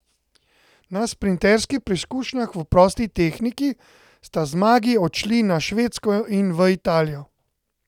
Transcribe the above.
Na sprinterskih preizkušnjah v prosti tehniki sta zmagi odšli na Švedsko in v Italijo.